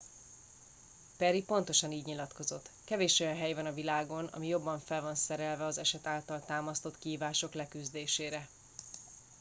perry pontosan így nyilatkozott kevés olyan hely van a világon ami jobban fel van szerelve az eset által támasztott kihívások leküzdésére